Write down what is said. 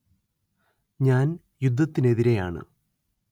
ഞാൻ യുദ്ധത്തിനെതിരെയാണ്